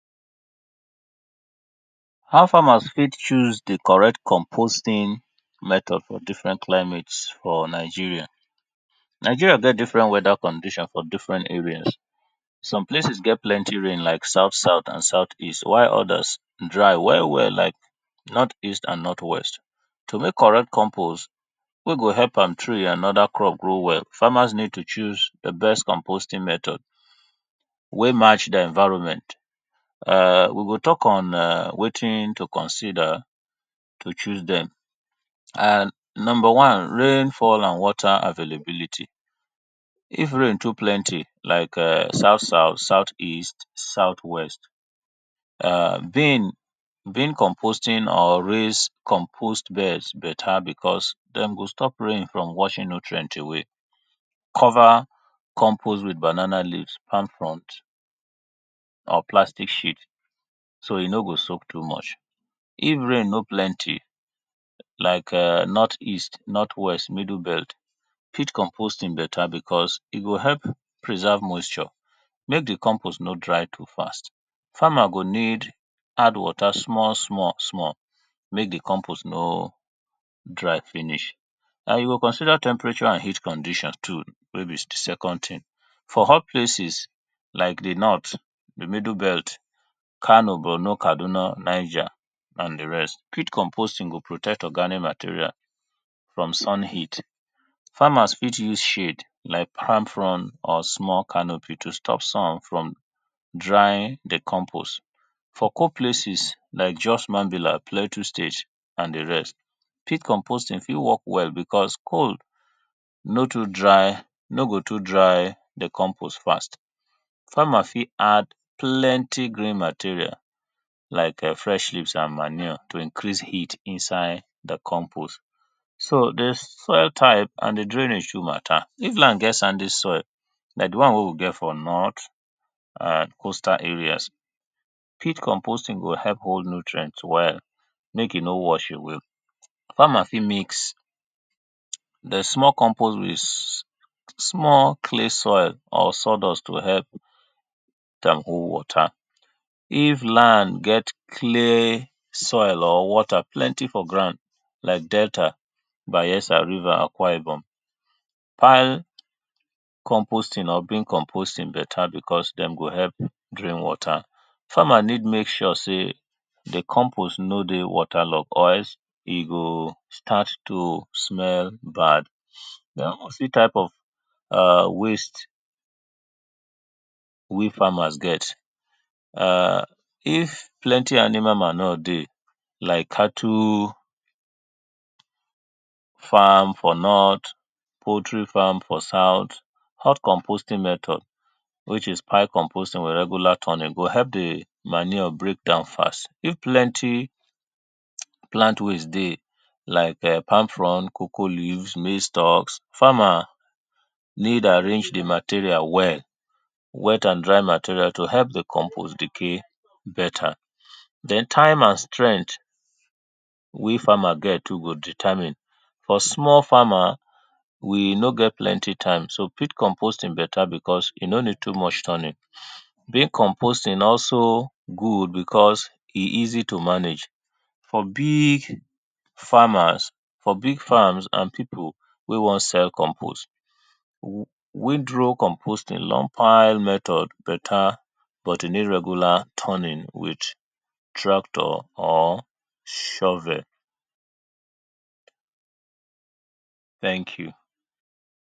How farmer fit choose di correct composting method for different climate for Nigeria. Nigeria get different weather conditions for different areas some places get plenty rain like south south and south east while odas dry well well like north east and north west. To make compost wey go help palm tree and oda crop grow well, farmers need to choose di best composting method wey match di environment. We go talk on wetin to consider to choose dem, and number one rainfall and water availability, if rain too plenty like south south, south east and south west, bin, bin composting or raise compost better because dem go stop rain from washing nutrient away cover compost with banana leaves, palm fronds or plastic so e no go soak too much. If rain no plenty like north east, north west or middle belt, pit composting better because e go help preserve moisture make di compost no dry fast, farmer go need add water small small make di compost no dry finish, and you go consider temperature and heat condition too wey be di second thing. For hot places like di north, di middle belt, Kano, Bornu, Kaduna, Niger and di rest, pit composting go protect organic material from sun heat, farmers fit use shade like palm frond or small canopy to stop sun from drying di compost. For cold places like Jos, Mavila, Plateau state and di rest pit compost ing dey okay because cold no go too dry compost fast, farmer fit add plenty green material like fresh leaves and manure to increase heat inside di compost. So di soil type and di drainage too matter, if na get sandy soil like di one wey we get for north and coastal areas pit compost ing go help hold nutrient well make e no wash away, farmer fit mix small compost with small clay soil or sawdust to help dem hold water. If land get clay soil or water plenty for ground, like Delta, Bayelsa, Rivers, Akwa Ibom, pile compost ing or pit compost ing better because dem go help hold water, farmer need to make sure sey di compost no dey water log or else e go start to dey smell bad, den type of waste wey farmer get, if animal manure dey like cattle, farm for north, poultry farm for south, hot compost ing method which is pile compost ing or regular turning e go help di manure breakdown fast, if plenty plant waste dey like palm frond, cocoa leaves maize stocks, farmer need arrange di material well, wet and dry material to help di compost decay better, den time and strength wey farmer get too go determine cos small farmer we no get plenty time so pit compost ing better because e no need too much turning. Bin compost ing also good because e easy to manage, for big farmers for big farms and people wey wan sell compost, wind roll compost ing, long pile method better but e need regular turning with tractor or shovel thank you.